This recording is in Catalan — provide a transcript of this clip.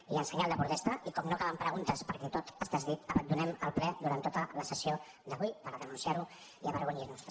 i en senyal de protesta i com que no hi caben preguntes perquè tot està dit abandonem el ple durant tota la sessió d’avui per denunciar ho i avergonyir nos en